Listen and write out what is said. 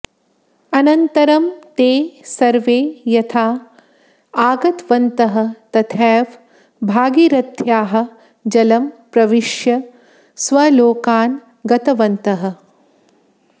अनन्तरं ते सर्वे यथा आगतवन्तः तथैव भागीरथ्याः जलं प्रविश्य स्वलोकान् गतवन्तः